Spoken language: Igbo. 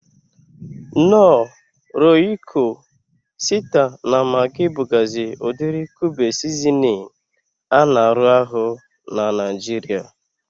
Knor, Royiko, Sita na Magi bugazi udiri kube sizinin a na arụ ahụ n'Naijiria